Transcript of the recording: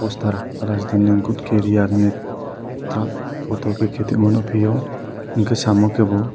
postar rajdhani good carrier eit truck kheti ma nugfio enke samo ke bo.